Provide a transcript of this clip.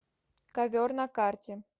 ковер на карте